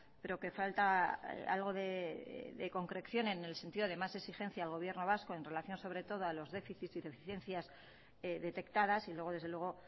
pero que falta algo de concreción en el sentido de más exigencia al gobierno vasco en relación sobre todo a los déficits y deficiencias detectadas y luego desde luego